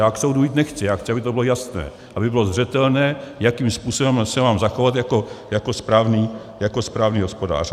Já k soudu jít nechci, já chci, aby to bylo jasné, aby bylo zřetelné, jakým způsobem se mám zachovat jako správný hospodář.